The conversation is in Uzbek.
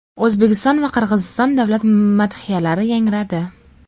O‘zbekiston va Qirg‘iziston davlat madhiyalari yangradi.